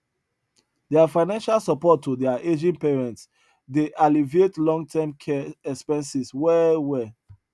their financial support to their aging parents dey alleviate long term care expenses well well